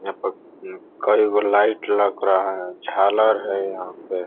यहाँ पर कई गो लाइट लग रहा है झालर है यहाँ पे ।